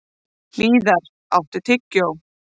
Hlíðar, áttu tyggjó?